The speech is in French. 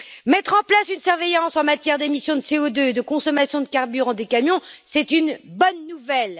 Mettre en place une surveillance en matière d'émissions de CO2 et de consommation de carburant des camions, c'est une bonne nouvelle.